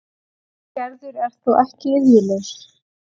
Gerður er þó ekki iðjulaus.